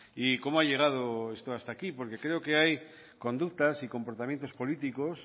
y cómo ha llegado esto hasta aquí porque creo que hay conductas y comportamientos políticos